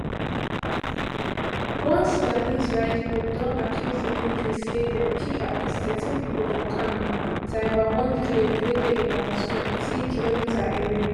one sudanese rights group don accuse di military say dem kill at least thirteen pipo for camp taiba one village wey dey about twentykm away